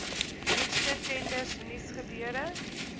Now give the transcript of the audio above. nuutste tenders nuusgebeure